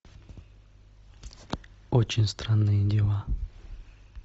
очень странные дела